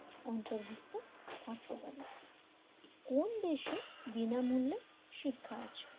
অন্তর্ভুক্ত থাকতে পারে কোন দেশে বিনামূল্যে শিক্ষা আছে,